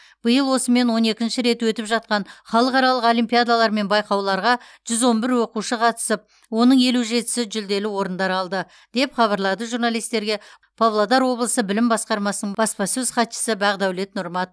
биыл осымен он екінші рет өтіп жатқан халықаралық олимпиадалар мен байқауларға жүз он бір оқушы қатысып оның елу жетісі жүлделі орындар алды деп хабарлады журналистерге павлодар облысы білім басқармасының баспасөз хатшысы бақдәулет нұрмат